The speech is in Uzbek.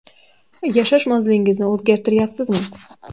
Yashash manzilingizni o‘zgartiryapsizmi?